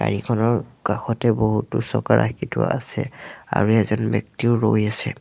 গাড়ীখনৰ কাষতে বহুতো চকা ৰাখি থোৱা আছে আৰু এজন ব্যক্তি ৰৈ আছে।